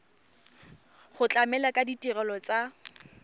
go tlamela ka ditirelo tsa